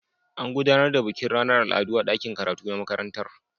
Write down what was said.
An gudanar da bikin ranar al'adu a dakin karatu na makarantar.